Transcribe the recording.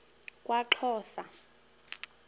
kwaxhosa